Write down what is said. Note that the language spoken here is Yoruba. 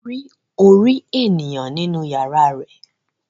Wọ́n rí orí ènìyàn nínú yàrá rẹ̀